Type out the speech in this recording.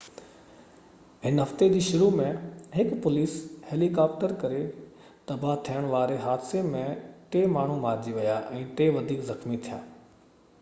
هن هفتي جي شروع ۾ هڪ پوليس هيليڪاپٽر ڪري تباهه ٿيڻ واري حادثي ۾ ٽي ماڻهو مارجي ويا ۽ ٽي وڌيڪ زخمي ٿيا